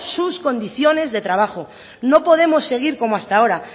sus condiciones de trabajo no podemos seguir como hasta ahora